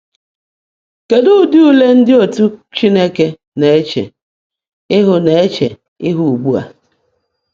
Kedụ ụdị ule ndị otu Chineke na-eche ihu na-eche ihu ugbu a?